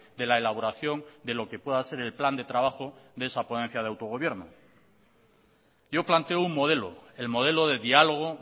de la elaboración de lo que pueda ser el plan de trabajo de esa ponencia de autogobierno yo planteo un modelo el modelo de diálogo